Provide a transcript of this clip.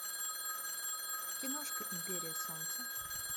киношка империя солнца